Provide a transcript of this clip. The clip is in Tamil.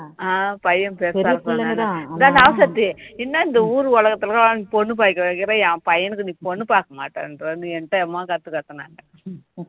ஆஹ் பையன் பெருசா இருப்பான் ராசாத்தி என்ன இந்த ஊரு உலகத்துல எல்லாம் பொண்ணு பார்த்து வைக்கிற என் பையனுக்கு நீ பொண்ணு பார்க்க மாட்டேன்றன்னு எங்கிட்ட எவ்ளோ கத்து கத்துனா